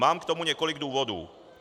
Mám k tomu několik důvodů.